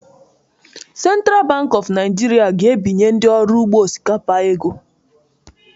Central Bank of Nigeria ga-enye ndị ọrụ ugbo osikapa ego ego